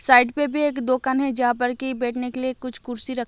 side पे भी एक दोकन जहा पर की बैठने के लिए कुछ कुर्सी रख--